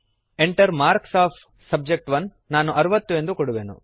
Enter marks of subject ನಾನು 60 ಎಂದು ಕೊಡುವೆನು